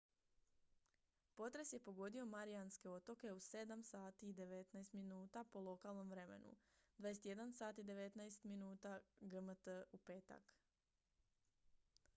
potres je pogodio marijanske otoke u 07:19 h po lokalnom vremenu 21:19 h gmt u petak